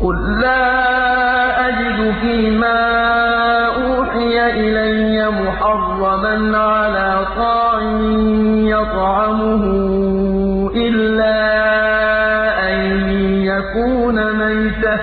قُل لَّا أَجِدُ فِي مَا أُوحِيَ إِلَيَّ مُحَرَّمًا عَلَىٰ طَاعِمٍ يَطْعَمُهُ إِلَّا أَن يَكُونَ مَيْتَةً